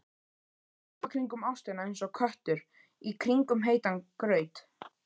Hoppa kringum ástina einsog köttur í kringum heitan graut.